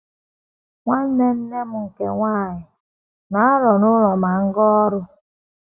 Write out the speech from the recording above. Nwanne nne m nke nwanyị na - anọ n’ụlọ ma m gaa ọrụ. ”